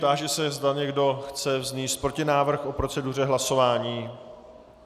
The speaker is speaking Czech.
Táži se, zda někdo chce vznést protinávrh o proceduře hlasování.